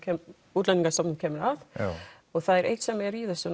Útlendingastofnun kemur að og það er eitt sem er í þessu